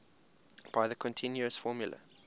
by the continuous formula